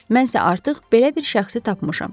Mən isə artıq belə bir şəxsi tapmışam.